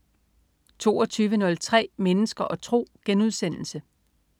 22.03 Mennesker og tro*